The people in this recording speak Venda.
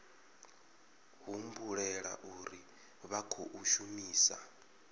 humbulela uri vha khou shumisa